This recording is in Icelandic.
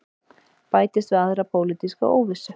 Bætist við aðra pólitíska óvissu